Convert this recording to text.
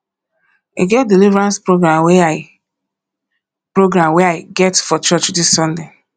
e get deliverance program wey i program wey i get for church dis sunday